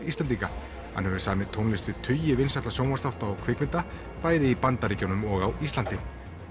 Íslendinga hann hefur samið tónlist við tugi vinsælla sjónvarpsþátta og kvikmynda bæði í Bandaríkjunum og á Íslandi